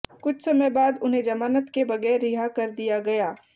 कुछ समय बाद उन्हें जमानत के बगैर रिहा कर कर दिया गया